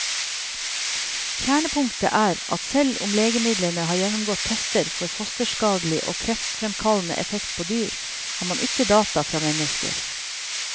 Kjernepunktet er at selv om legemidlene har gjennomgått tester for fosterskadelig og kreftfremkallende effekt på dyr, har man ikke data fra mennesker.